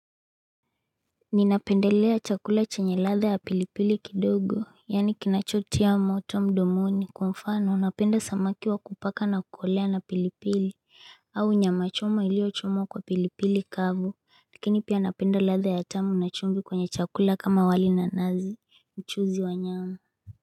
Ninapendelea chakula chenye ladha ya pilipili kidogo, yaani kinachotia moto mdomoni kwa mfano, napenda samaki wa kupaka nakukolea na pilipili, au nyama choma iliyochomwa kwa pilipili kavu, lakini pia napenda ladha ya tamu na chumvi kwenye chakula kama wali na nazi, mchuzi wa nyama.